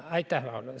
Aitäh!